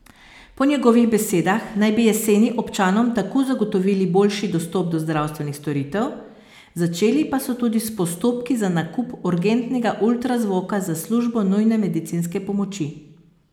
Po njegovih besedah naj bi jeseni občanom tako zagotovili boljši dostop do zdravstvenih storitev, začeli pa so tudi s postopki za nakup urgentnega ultrazvoka za službo nujne medicinske pomoči.